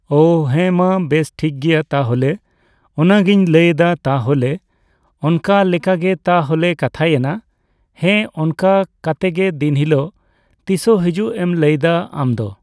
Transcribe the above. ᱚ ᱦᱮᱸ ᱢᱟ ᱵᱮᱥ ᱴᱷᱤᱠ ᱜᱮᱭᱟ ᱛᱟᱦᱞᱮ ᱚᱱᱟ ᱜᱤᱧ ᱞᱟᱹᱭᱫᱟ ᱛᱟᱦᱞᱮ ᱚᱱᱠᱟ ᱞᱮᱠᱟᱜᱮ ᱛᱟᱦᱞᱮ ᱠᱟᱛᱷᱟᱭᱮᱱᱟ ᱾ ᱦᱮᱸ ᱚᱱᱠᱟ ᱠᱟᱛᱮᱜ ᱫᱤᱱ ᱦᱤᱞᱳᱜ ᱛᱤᱥᱚᱜ ᱦᱤᱡᱩᱜ ᱮᱢ ᱞᱟᱹᱭᱫᱟ ᱟᱢ ᱫᱚ